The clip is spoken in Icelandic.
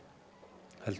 heldur